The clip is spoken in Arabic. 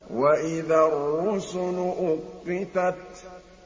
وَإِذَا الرُّسُلُ أُقِّتَتْ